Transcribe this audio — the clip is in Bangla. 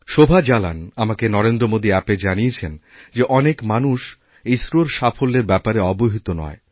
শোভা জালান আমাকে নরেন্দ্রমোদী অ্যাপে জানিয়েছেন যে অনেক মানুষ ইসরোরসাফল্যের ব্যাপারে অবহিত নয়